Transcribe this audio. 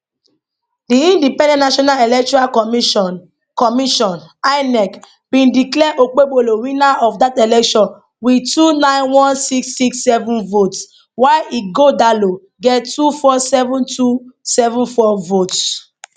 di independent national electoral commission commission inec bindeclare okpebholo winnerof dat election wit two nine one six six seven votes while ighodalo get two four seven two seven four votes